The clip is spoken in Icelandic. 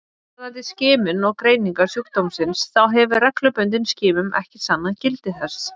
Varðandi skimun og greiningu sjúkdómsins þá hefur reglubundin skimun ekki sannað gildi sitt.